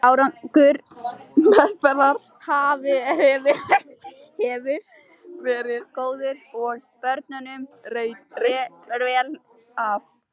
Árangur meðferðar hefur verið góður og börnunum reitt vel af.